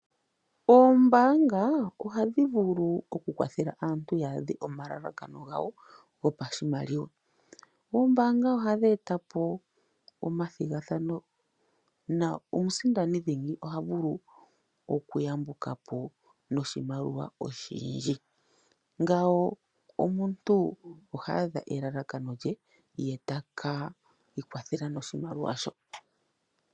Oombanga oha dhivulu oku kwathela aantu ya dhe omalalakano gawo gopashimaliwa, oombanga oha dhetapo oma thingathano na omusindani dhingi oha vulu oku yambukapo noshimaliwa oshindji, ngawo omuntu oha adha elalakano lye ye taka ikwathela noshimaliwa sho.